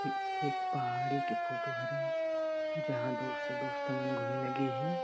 एक-एक पहाड़ी के फोटो हरे जहाँ दोस्त -दोस्त मन घूमे लगे हे।